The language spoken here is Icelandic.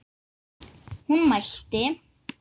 Hún mælti